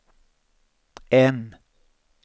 N